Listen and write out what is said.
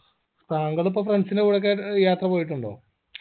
താങ്കൾ ഇപ്പൊ friends ൻറെ കൂടെ ഒക്കെയായിട്ട് യാത്ര പോയിട്ടുണ്ടോ